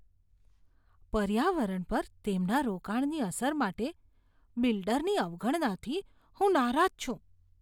પર્યાવરણ પર તેમના રોકાણની અસર માટે બિલ્ડરની અવગણનાથી હું નારાજ છું.